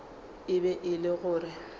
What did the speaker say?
e be e le gore